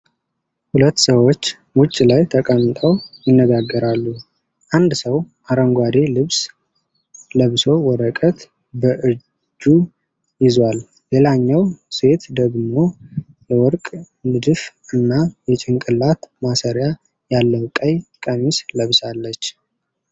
ሁለት ሰዎች ውጭ ላይ ተቀምጠው ይነጋገራሉ። አንድ ሰው አረንጓዴ ልብስ ለብሶ ወረቀት በእጁ ይዟል፤ ሌላኛዋ ሴት ደግሞ የወርቅ ንድፍ እና የጭንቅላት ማሰሪያ ያለው ቀይ ቀሚስ ለብሳለች።